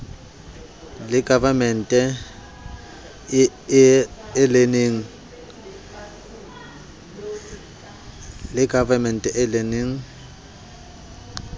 e governance e learning e